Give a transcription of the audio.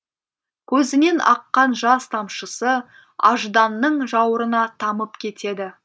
көзінен аққан жас тамшысы ажданның жауырына тамып кетеді